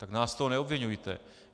Tak nás z toho neobviňujte.